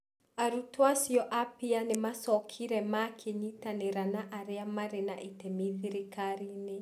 Arutwo acio a PEER nĩ maacokire makĩnyitanĩra na arĩa maarĩ na itemi thirikari-inĩ.